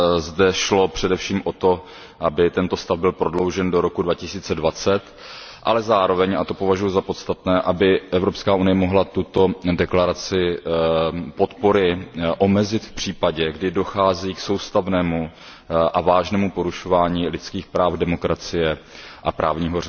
Zde šlo především o to, aby tento stav byl prodloužen do roku 2020, ale zároveň, a to považuji za podstatné, aby EU mohla tuto deklaraci podpory omezit v případě, kdy dochází k soustavnému a vážnému porušování lidských práv, demokracie a právního